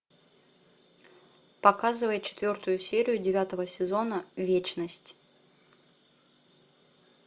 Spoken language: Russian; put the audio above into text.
показывай четвертую серию девятого сезона вечность